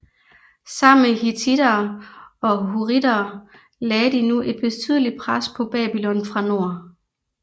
Sammen med hittittere og hurrittere lagde de nu et betydelig pres på Babylon fra nord